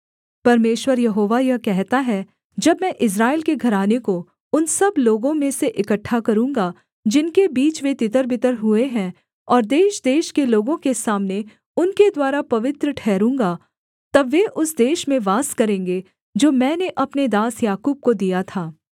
परमेश्वर यहोवा यह कहता है जब मैं इस्राएल के घराने को उन सब लोगों में से इकट्ठा करूँगा जिनके बीच वे तितरबितर हुए हैं और देशदेश के लोगों के सामने उनके द्वारा पवित्र ठहरूँगा तब वे उस देश में वास करेंगे जो मैंने अपने दास याकूब को दिया था